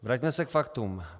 Vraťme se k faktům.